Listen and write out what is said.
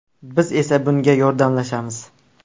Biz esa bunga yordamlashamiz.